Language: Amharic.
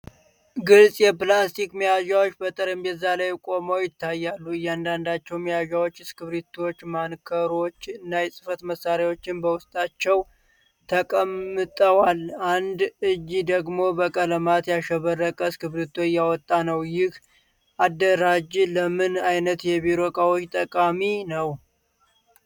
ግልጽ የፕላስቲክ መያዣዎች በጠረጴዛ ላይ ቆመው ይታያሉ። እያንዳንዳቸው መያዣዎች እስክሪብቶዎች፣ ማርከሮች እና የጽሕፈት መሣሪያዎች በውስጣቸው ተቀምጠዋል። አንድ እጅ ደግሞ በቀለማት ያሸበረቀ እስክሪብቶ እያወጣ ነው፤ ይህ አደራጅ ለምን አይነት የቢሮ ዕቃዎች ጠቃሚ ነው?